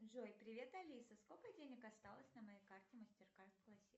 джой привет алиса сколько денег осталось на моей карте мастеркард классик